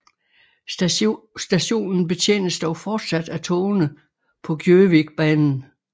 Stationen betjenes dog fortsat af togene på Gjøvikbanen